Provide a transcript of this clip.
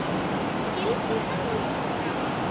Skildu hann og Gugga?